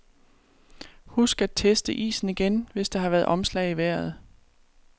Husk at teste isen igen, hvis der har været omslag i vejret.